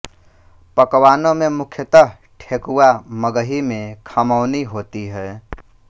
पकवानों में मुख्यतः ठेकुआ मगही में खमौनी होती है